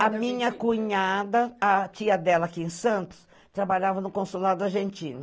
A minha cunhada, a tia dela aqui em Santos, trabalhava no consulado argentino.